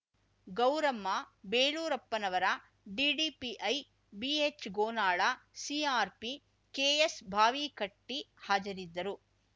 ಗೌರಮ್ಮ ಬೇಲೂರಪ್ಪನವರ ಡಿಡಿಪಿಐ ಬಿಎಚ್ಗೋನಾಳ ಸಿಆರ್‍ಪಿ ಕೆಎಸ್ಭಾವಿಕಟ್ಟಿ ಹಾಜರಿದ್ದರು